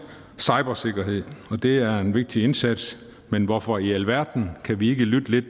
cybersikkerhed det er en vigtig indsats men hvorfor i alverden kan vi ikke lytte lidt